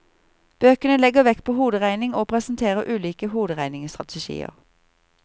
Bøkene legger vekt på hoderegning og presenterer ulike hoderegningsstrategier.